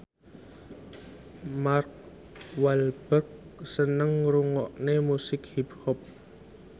Mark Walberg seneng ngrungokne musik hip hop